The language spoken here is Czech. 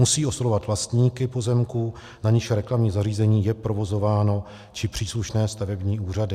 Musí oslovovat vlastníky pozemků, na nichž reklamní zařízení je provozováno, či příslušné stavební úřady.